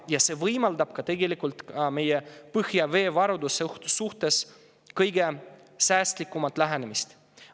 Ja see võimaldab ka tegelikult meie põhjaveevarudele kõige säästlikumat lähenemist.